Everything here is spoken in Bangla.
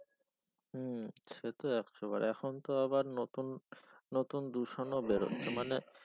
হম সে তো একশো বার এখন তো আবার নতুন নতুন দূষণ বেরই মানে